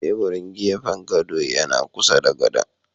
Teburun gefen godo yana kusa da godon.